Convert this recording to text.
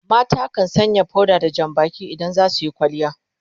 mata kan Sanya powder da Jan Baki idan za suyi kwalliya